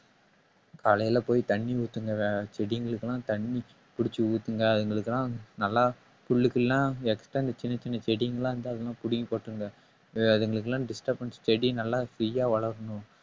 காலையில போய் தண்ணி ஊத்துங்க வ~ செடிங்களுக்கு எல்லாம் தண்ணி புடிச்சு ஊத்துங்க அதுங்களுக்கு எல்லாம் நல்லா புல்லு கில்லுலாம் extra இந்த சின்ன சின்ன செடிங்கெல்லாம் இருந்தா அதெல்லாம் புடுங்கி போட்டுருங்க அதுங்களுக்கு எல்லாம் disturbance செடி நல்லா free யா வளரணும்